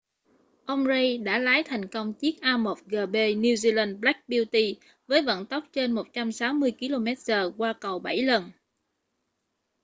ông reid đã lái thành công chiếc a1gp new zealand black beauty với vận tốc trên 160km/h qua cầu bảy lần